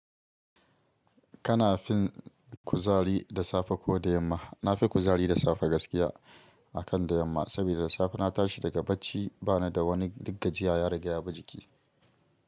Kana fin kuzari da safe ko da yamma? Na fi kuzari da safe gaskiya akan da yamma. Saboda da safe na tashi daga barci bana da wani duk gajiya ya riga ya bi jiki.